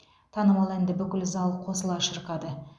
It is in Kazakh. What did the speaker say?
танымал әнді бүкіл зал қосыла шырқады